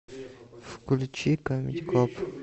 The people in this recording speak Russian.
включи камеди клаб